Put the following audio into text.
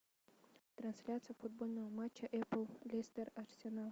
трансляция футбольного матча эпл лестер арсенал